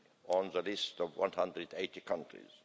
on the list of 180 countries.